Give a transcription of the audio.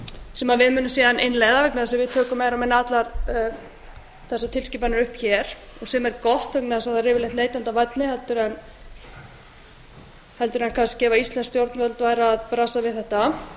sem við munum síðan innleiða vegna þess að við tökum meira og minna allar þessar tilskipanir upp hér og sem er gott vegna þess að þær eru yfirleitt neytendavænni heldur en kannski ef íslensk stjórnvöld væru að brasa við þetta